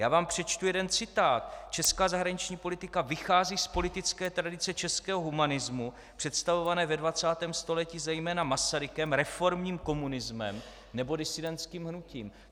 Já vám přečtu jeden citát: "Česká zahraniční politika vychází z politické tradice českého humanismu představované ve 20. století zejména Masarykem, reformním komunismem nebo disidentským hnutím."